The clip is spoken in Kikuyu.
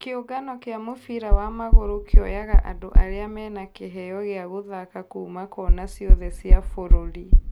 Kĩũngano kĩa mũbira wa magũrũ kĩoyaga andũ arĩa mena kĩheo gĩa gũthaka kũũma kona ciothe cia bũrũri